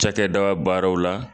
Cakɛdaba baaraw la